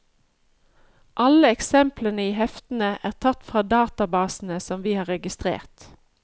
Alle eksemplene i heftene er tatt fra databasene som vi har registrert.